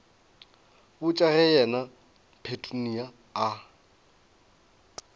botša ge yena petunia a